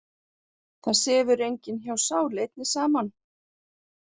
Það sefur enginn hjá sál einni saman.